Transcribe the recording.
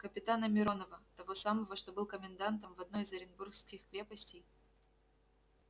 капитана миронова того самого что был комендантом в одной из оренбургских крепостей